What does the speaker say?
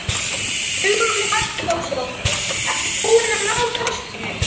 Hugrún Halldórsdóttir: Ertu búinn að ná kastinu?